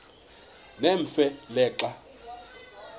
nemfe le xa